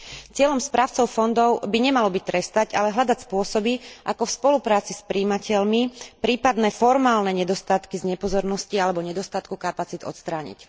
Cieľom správcov fondov by nemalo byť trestať, ale hľadať spôsoby, ako v spolupráci s prijímateľmi prípadné formálne nedostatky z nepozornosti alebo nedostatku kapacít odstrániť.